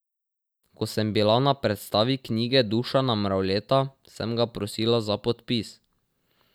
Ko sem bila na predstavitvi knjige Dušana Mravljeta, sem ga prosila za podpis.